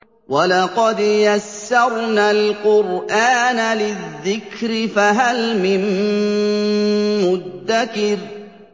وَلَقَدْ يَسَّرْنَا الْقُرْآنَ لِلذِّكْرِ فَهَلْ مِن مُّدَّكِرٍ